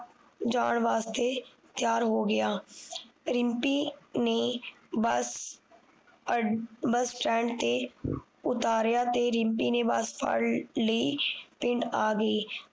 ਜਾਣ ਵਾਸਤੇ ਤਿਆਰ ਹੋ ਗਿਆ ਰਿਮਪੀ ਨੇ ਬਸ ਅ ਬਸ ਸਟੈਂਡ ਤੇ ਉਤਾਰਿਆ ਤੇ ਰਿਮਪੀ ਨੇ ਬਸ ਫੜ੍ਹ ਲਈ ਪਿੰਡ ਆ ਗਈ